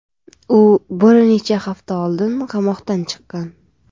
U bir necha hafta oldin qamoqdan chiqqan.